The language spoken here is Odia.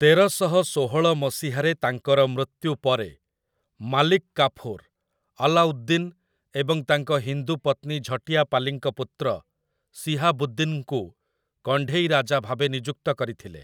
ତେରଶହ ଷୋହଳ ମସିହାରେ ତାଙ୍କର ମୃତ୍ୟୁ ପରେ, ମାଲିକ୍ କାଫୁର୍ ଆଲାଉଦ୍ଦିନ୍ ଏବଂ ତାଙ୍କ ହିନ୍ଦୁ ପତ୍ନୀ ଝଟ୍ୟାପାଲିଙ୍କ ପୁତ୍ର ଶିହାବୁଦ୍ଦିନ୍‌ଙ୍କୁ କଣ୍ଢେଇ ରାଜା ଭାବେ ନିଯୁକ୍ତ କରିଥିଲେ ।